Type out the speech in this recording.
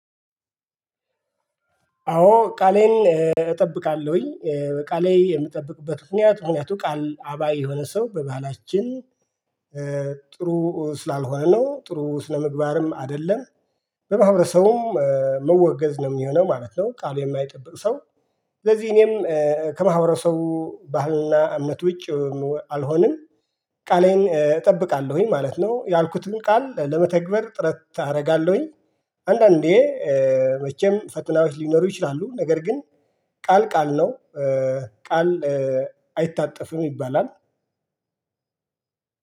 አዎ ቃሌን እጠብቃለሁኝ ቃሌ የምጠብቅበት ምክንያት ምክንያቱ ቃል አባይ የሆነ ሰው በባህላችን ጥሩ ስላልሆነ ነው ጥሩ ስለምግባርም አይደለም በማህበረሰቡም መወገዝ ነው የሚሆነው ማለት ነው። ቃል የማይጠብቅ ሰው። ስለዚህ እኔም ከማህበረሰቡ ባህልና እምነት ውጪ አልሆንም። ቃሌን እጠብቃለሁኝ ማለት ነው ያልኩትን ቃል ለመተግበር ጥረት አረጋለሁኝ። አንዳንዴ መቼም ፈተናዎች ሊኖሩ ይችላሉ ነገር ግን ቃል ቃል ነው። ቃል አይታጠፍም ይባላል።